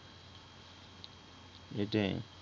এইটাই